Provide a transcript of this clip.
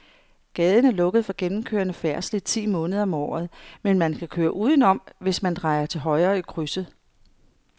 Gaden er lukket for gennemgående færdsel ti måneder om året, men man kan køre udenom, hvis man drejer til højre i krydset.